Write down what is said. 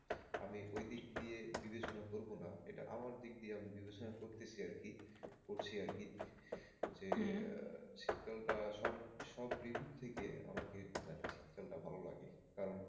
আমি ওই দিক দিয়ে বিবেচনা করব না এটা আমার দিক দিয়ে আমি বিবেচনা করতেছি আরকি করছি আরকি যে হম শীতকালটা সব সব ঋতুর থেকে আমাকে মানে শীতকালটা ভালো লাগে কারণ।